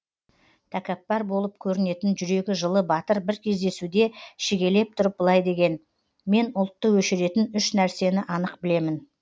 тәкаппар болып көрінетін жүрегі жылы батыр бір кездесуде шегелеп тұрып былай деген мен ұлтты өшіретін үш нәрсені анық білемін